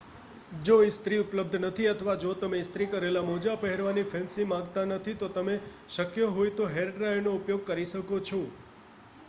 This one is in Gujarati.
જો ઇસ્ત્રી ઉપલબ્ધ નથી અથવા જો તમે ઇસ્ત્રી કરેલ મોજાં પહેરવાની ફેન્સી માંગતા નથી તો પછી તમે શક્ય હોય તો હેરડ્રાયરનો ઉપયોગ કરી શકો છો